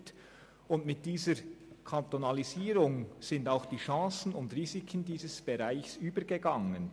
Mit dieser Kantonalisierung sind auch die Chancen und Risiken dieses Bereichs an den Kanton übergegangen.